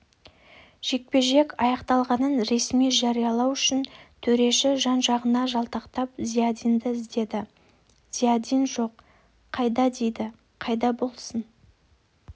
жекпе-жек аяқталғанын ресми жариялау үшін төреші жан-жағына жалтақтап зиядинді іздеді зиядин жоқ қайда дейді қайда болсын